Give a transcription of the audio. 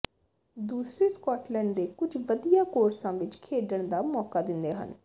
ਦੂਸਰੇ ਸਕੌਟਲੈਂਡ ਦੇ ਕੁਝ ਵਧੀਆ ਕੋਰਸਾਂ ਵਿੱਚ ਖੇਡਣ ਦਾ ਮੌਕਾ ਦਿੰਦੇ ਹਨ